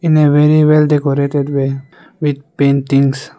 in a very well decorated way with paintings.